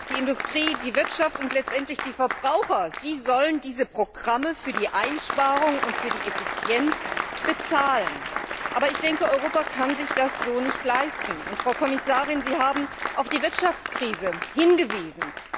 Die Industrie, die Wirtschaft und letzten Endes die Verbraucher sollen diese Programme für die Einsparung und für die Effizienz bezahlen. Aber Europa kann sich das so nicht leisten! Frau Kommissarin, Sie haben auf die Wirtschaftskrise hingewiesen.